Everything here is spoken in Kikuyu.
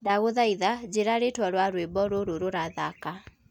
ndagũthaitha njĩĩra ritwa ria rwĩmbo rũrũ rurathaka